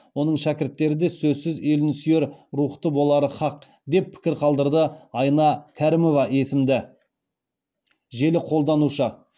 оның шәкірттері де сөзсіз елін сүйер рухта болары һақ деп пікір қалдырады айна кәрімова есімді желі қолданушы